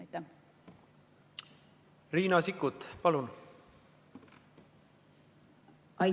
Riina Sikkut, palun!